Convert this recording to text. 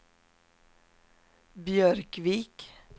Björkvik